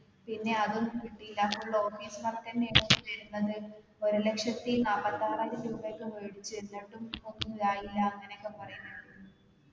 പിന്നെ അതും കിട്ടീല full office work ഞ്ഞെയായിരുന്നു വരുന്നത് ഒരു ലക്ഷത്തി നാല്പത്താറായിരം രൂപ ഒക്കെ വേടിച്ചു എന്നിട്ടും ഒന്നും ആയില്ല അങ്ങനെ ഒക്കെ പറയുന്നുണ്ട്